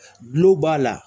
kulo b'a la.